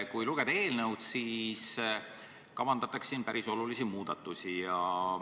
Kui lugeda eelnõu, siis siin kavandatakse päris olulisi muudatusi.